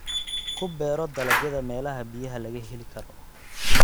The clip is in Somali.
Ku beero dalagyada meelaha biyaha laga heli karo.